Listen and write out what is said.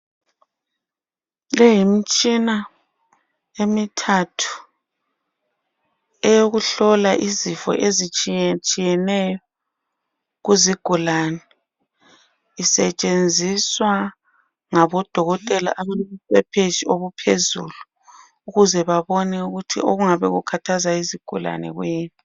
Le yimtshina emithathu eyokuhlola izifo ezitshiyetshiye neyo kuzigulani. Isetshenziswa ngaboDokotela abalobuqeqetshi obuphezulu ukuzebabone ukuthi okungabe kukhathaza izigulane kuyini.